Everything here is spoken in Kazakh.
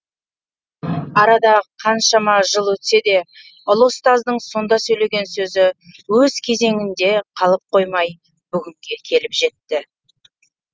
арада қаншама жыл өтсе де ұлы ұстаздың сонда сөйлеген сөзі өз кезеңінде қалып қоймай бүгінге келіп жетті